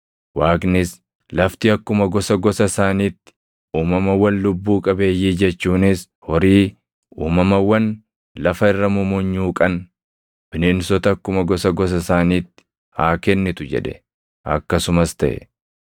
Waaqnis, “Lafti akkuma gosa gosa isaaniitti uumamawwan lubbuu qabeeyyii jechuunis horii, uumamawwan lafa irra mumunyuuqan, bineensota akkuma gosa gosa isaaniitti haa kennitu” jedhe. Akkasumas taʼe.